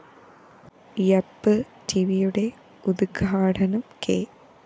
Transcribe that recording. യാപ്‌ ടിവിയുടെ ഉദ്ഘാടനം കെ